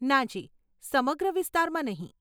નાજી, સમગ્ર વિસ્તારમાં નહીં.